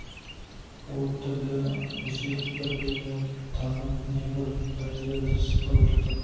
от тілді өсек бір-біріне таңып небір пәлелерді сапырып жататын